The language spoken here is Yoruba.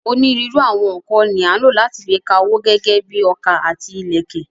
Onírúurú àwọn nǹkan ni à ń lò láti fi ka owó gẹ́gẹ́ bíi ọkà àti ìlẹ̀kẹ̀.